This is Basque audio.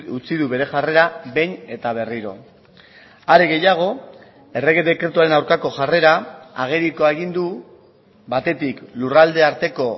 utzi du bere jarrera behin eta berriro are gehiago errege dekretuaren aurkako jarrera agerikoa egin du batetik lurraldearteko